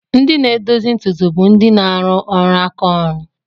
Ndị na-edozi ntutu bụ ndị na-arụ ọrụ aka ọrụ.